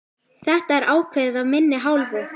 Þetta er ákveðið af minni hálfu!